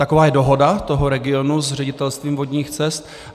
Taková je dohoda toho regionu s Ředitelstvím vodních cest.